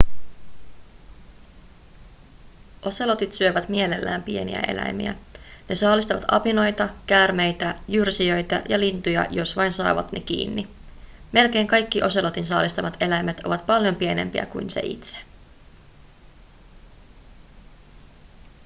oselotit syövät mielellään pieniä eläimiä ne saalistavat apinoita käärmeitä jyrsijöitä ja lintuja jos vain saavat ne kiinni melkein kaikki oselotin saalistamat eläimet ovat paljon pienempiä kuin se itse